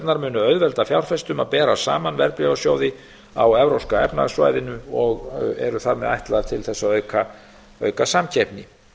lykilupplýsingarnar munu auðvelda fjárfestum að bera saman verðbréfasjóði á evrópska efnahagssvæðinu og eru þar með ætlaðar til þess að auka samkeppni